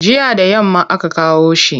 Jiya da yamma aka kawo shi.